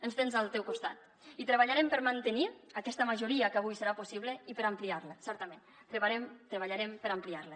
ens tens al teu costat i treballarem per mantenir aquesta majoria que avui serà possible i per ampliar la certament treballarem per ampliar la